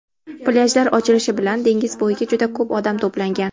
Plyajlar ochilishi bilan dengiz bo‘yiga juda ko‘p odam to‘plangan.